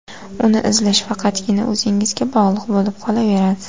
Uni izlash faqatgina o‘zingizga bog‘liq bo‘lib qolaveradi.